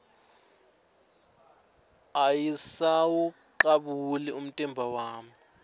ayisawucabuli umtimba wami